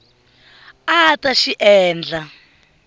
a a ta xi endla